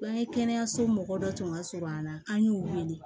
Bangekɛnɛso mɔgɔ dɔ tun ka surun an na an y'u wele